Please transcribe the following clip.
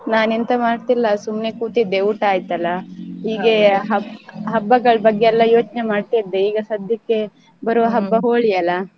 ನಾನ ಎಂತ ಮಾಡ್ತೀಲ್ಲಾ ಸುಮ್ನೆ ಕೂತಿದ್ದೆ ಊಟ ಆಯ್ತಲ್ಲ ಹೀಗೆ ಹ~ಹಬ್ಬಗಳ ಬಗ್ಗೆ ಯೋಚ್ನೇ ಮಾಡ್ತಾ ಇದ್ದೇ ಈಗ ಸದ್ಯಕ್ಕೆ ಬರುವ ಹಬ್ಬ Holi ಅಲಾ.